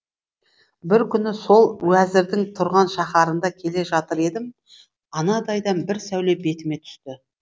бір күні сол уәзірдің тұрған шаһарында келе жатыр едім анадайдан бір сәуле бетіме түсті